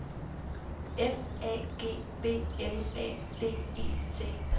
F A G B L A D E T